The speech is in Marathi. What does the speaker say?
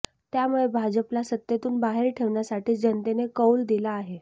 त्यामुळे भाजपला सत्तेतून बाहेर ठेवण्यासाठीच जनतेने कौल दिला आहे